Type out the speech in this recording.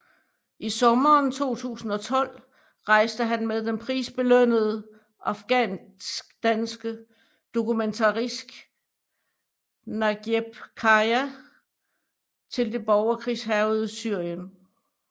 I sommeren 2012 rejste han med den prisbelønnede afghanskdanske dokumentarist Nagieb Khaja til det borgerkrigshærgede Syrien